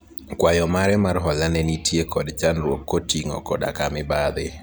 kwayo mare mar hola ne nitie kod chandruok koting'o koda ka mibadhi